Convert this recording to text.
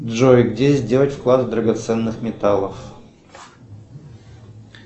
джой где сделать вклад драгоценных металлов